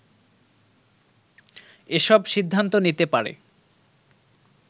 এসব সিদ্ধান্ত নিতে পারে